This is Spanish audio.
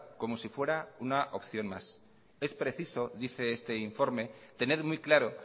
como si fuera una opción más es preciso dice este informe tener muy claro